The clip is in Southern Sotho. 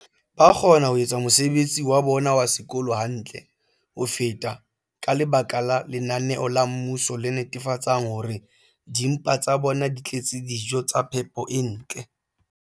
ba kgona ho etsa mosebetsi wa bona wa sekolo hantle ho feta ka lebaka la lenaneo la mmuso le netefatsang hore dimpa tsa bona di tletse dijo tsa phepo e ntle.